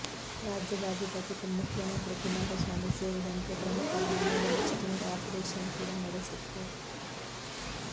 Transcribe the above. ರಾಜ್ಯದ ಅಧಿಪತಿ ಮುಖ್ಯಮಂತ್ರಿ ಕುಮಾರಸ್ವಾಮಿ ಸೇರಿದಂತೆ ಪ್ರಮುಖರ ಮನೆ ಬಳಿ ಸ್ಟಿಂಗ್ ಆಪರೇಷನ್ ಕೂಡ ನಡೆಸಿತ್ತು